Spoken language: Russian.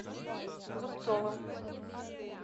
зубцовым